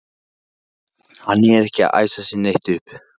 Hann er ekkert að æsa sig neitt upp.